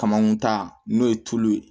Kamakun ta n'o ye tulu ye